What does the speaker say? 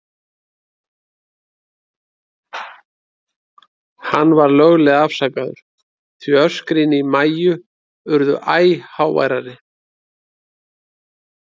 Hann var löglega afsakaður, því öskrin í Maju urðu æ háværari.